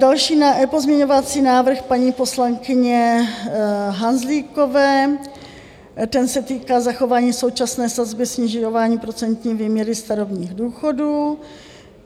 Další pozměňovací návrh paní poslankyně Hanzlíkové, ten se týká zachování současné sazby, snižování procentní výměry starobních důchodů.